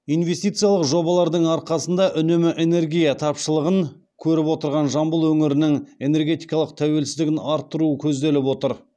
инвестициялық жобалардың арқасында үнемі энергия тапшылығын көріп отырған жамбыл өңірінің энергетикалық тәуелсіздігін арттыруы көзделіп отыр